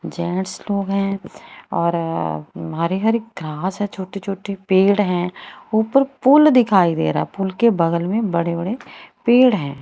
Gents लोग हैं और हरे हरे घास है छोटे छोटे पेड़ हैं ऊपर पुल दिखाई दे रहा पुल के बगल में बड़े बड़े पेड़ हैं।